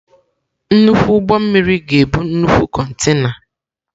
Nnukwu ụgbọ mmiri ga-ebu nnukwu kontena.